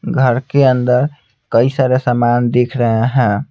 घर के अंदर कई सारे सामान दिख रहे हैं।